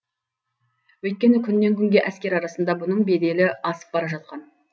өйткені күннен күнге әскер арасында бұның беделі асып бара жатқан